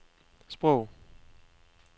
sprog